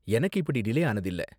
எனக்கு இப்படி டிலே ஆனது இல்ல.